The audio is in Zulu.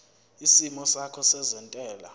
isimo sakho sezentela